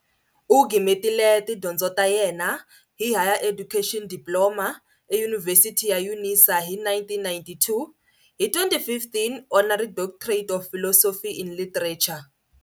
U gimetile tidyondzo ta yena hi Higher Education Diploma, HED, eyunivhesiti ya Unisa hi 1992 hi 2015 honorary Doctorate of Philosophy in literature.